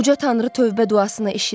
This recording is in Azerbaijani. Uca tanrı tövbə duasını eşidər.